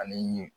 Ale ye